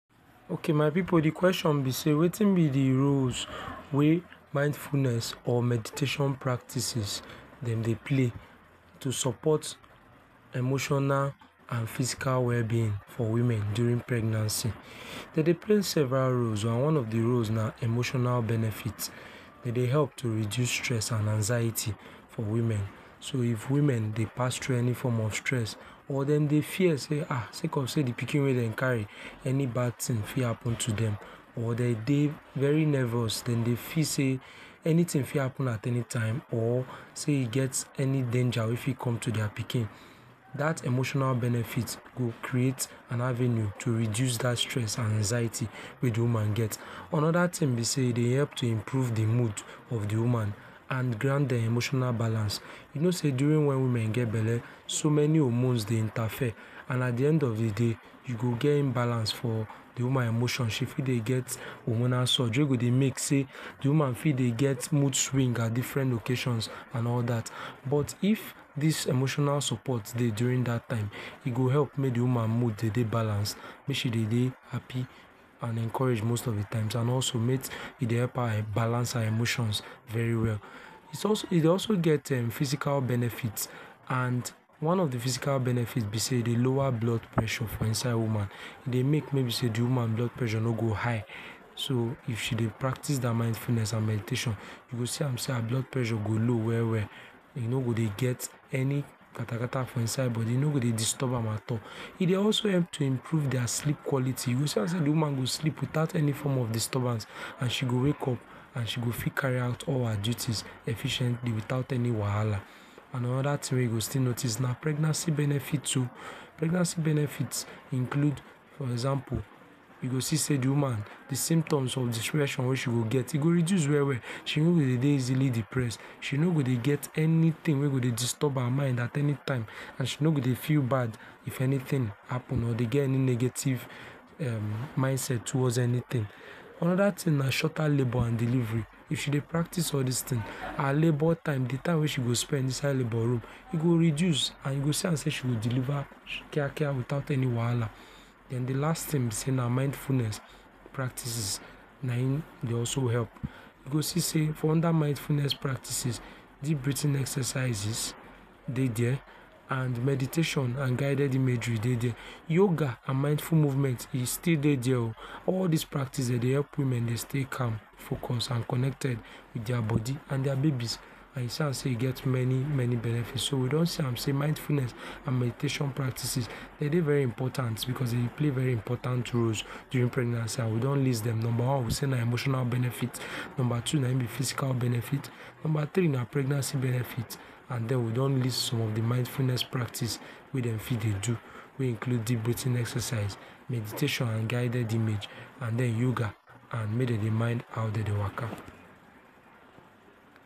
Okay my pipu de question be sey wetin be de roles wey mindfulness or meditation practices dem dey play to support emotional and physical wellbeing for women during pregnancy. Dem dey play several roles and one of de roles na emotional benefit. E dey help to reduce stress and anxiety for women. So if women dey pass through any form of stress or dem dey fear sey um sey cause sey de pikin wey dem carry any bad thing fit happen to dem or dem dey very nervous dem dey feel sey anything fit happen at anytime or sey e get any danger wey fit come to their pikin. That emotional benefit go create am avenue to reduce that stress and anxiety we dey woman get. Another thing be sey e dey help to improve de mood of de woman and grant dem emotional balance. You know sey during wen women get belle, so many hormones dey interfere and at de end of de day you go get imbalance for de woman emotion she fit dey get hormonal surge wey do dey make sey de woman fit dey get mood swings at different occasions and all that. But if this emotional support dey during that time e go help make de woman emotion dey balance make she dey happy and encouraged most of de time and also make e dey help balance her emotions very well. e dey also get physical benefit and one of de physical benefit be sey e dey lower blood pressure for inside woman. E dey make may be sey de woman pressure no go high, so if she dey practices her mindfulness and meditation you go see am sey her blood pressure go low well well, e no go de get any katakata for inside body, e no go dey disturb am at all, e dey also help to improve dia sleep quality you go see am sey de go sleep without any form of disturbance and she go wakeup and se go fit carry out all her duties efficiently without any wahala and anoda thing wey you go still noticed na pregnancy benefit, pregnancy benefits include for example you go see sey de woman de symptoms of depression wey she gets e go reduce well well. She no go dey easily depressed she no go dey get anything wey go dey disturb her mind at anytime and she no go dey feel bad if anything happen or dey get any negative um mindset towards anything. Another thing na shorter labour and delivery, If she dey practice all these things, her labour time time wey she go spend for labour room e go reduce and e go see am sey she go deliver Kia Kia without any wahala. Then de last thing be sey mindfulness practices na im dey also help, you go see sey dat mindfulness practices deep breathing exercises dey there and meditation and guided imagery e dey there. Yoga and mindful movement e still dey there oh. these practices dem dey help women dey stay calm. Focus and connected with their body and their babies as e go see am sey e get many many benefits. So mindfulness, meditation practices, dey dey very important because dem dey play very important roles during pregnancy and we don list dem. Number one we sey na emotional benefits, number two na im be physical benefits, number three na pregnancy benefits and den we don list some of de mindfulness practice wey dem fit dey do wey include deep breathing exercise, meditation and guided image and then yoga make dem dey mind how dey take dey waka.